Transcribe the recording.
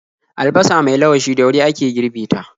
Albasa mai lawashi da wuri ake girbe ta.